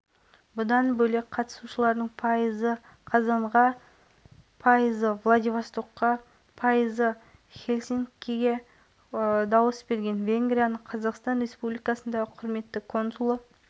келелі кездесуден кейін екі тараптың қатысуымен венгрияның шымкент қаласындағы консулдығының ашылу салтанаты өтті жаңадан ашылған өкілдік